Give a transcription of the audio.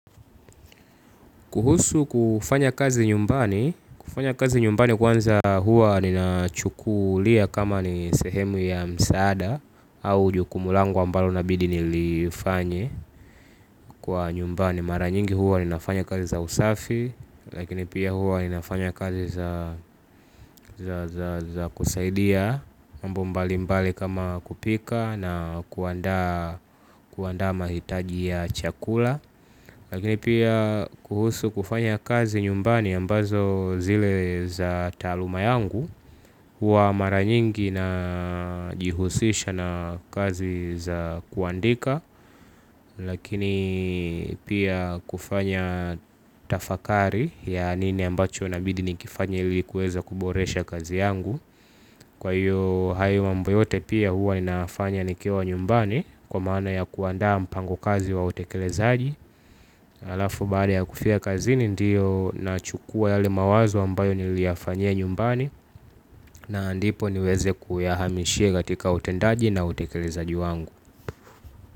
Kuhusu kufanya kazi nyumbani, kufanya kazi nyumbani kwanza huwa nina chukulia kama ni sehemu ya msaada au jukumu langu ambalo inabidi nilifanye kwa nyumbani. Mara nyingi huwa ninafanya kazi za usafi, lakini pia huwa ninafanya kazi za kusaidia mambo mbali mbali kama kupika na kuandaa mahitaji ya chakula. Lakini pia kuhusu kufanya kazi nyumbani ambazo zile za taaluma yangu huwa mara nyingi najihusisha na kazi za kuandika. Lakini pia kufanya tafakari ya nini ambacho inabidi nikifanye ili kuweza kuboresha kazi yangu. Kwa hiyo hayo mambo yote pia huwa ninafanya nikiwa nyumbani kwa maana ya kuandaa mpango kazi wa utekelezaji. Halafu baada ya kufika kazini ndiyo na chukua yale mawazo ambayo niliyafanyia nyumbani. Na ndipo niweze kuyahamishia katika utendaji na utekelezaji wangu.